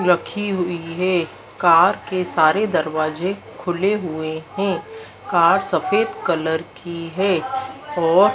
रखी हुई हैं। कार के सारे दरवाजे खुले हुए हैं कार सफेद कलर की हैं और--